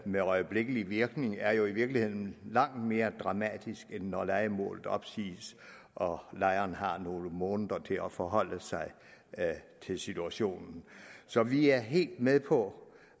med øjeblikkelig virkning er jo i virkeligheden langt mere dramatisk end når lejemålet opsiges og lejeren har nogle måneder til at forholde sig til situationen så vi er helt med på